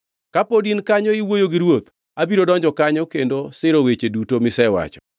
Kapod in kanyo iwuoyo gi ruoth, abiro donjo kanyo kendo siro weche duto misewacho.”